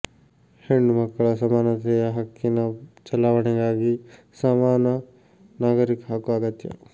ಹೆಣ್ಣು ಮಕ್ಕಳ ಸಮಾನತೆಯ ಹಕ್ಕಿನ ಚಲಾವಣೆಗಾಗಿ ಸಮಾನ ನಾಗರಿಕ ಹಕ್ಕು ಅಗತ್ಯ